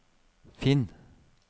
finn